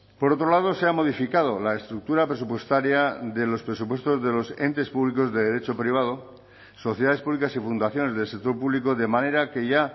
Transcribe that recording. por otro lado se ha modificado la estructura presupuestaria de los presupuestos de los entes públicos de derecho privado sociedades públicas y fundaciones del sector público de manera que ya